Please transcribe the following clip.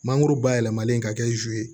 Mangoro bayɛlɛmalen ka kɛ zu ye